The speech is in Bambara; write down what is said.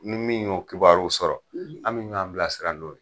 Ni min y'o kibaruw sɔrɔ, an bɛ ɲɔan bilasira n'o ye.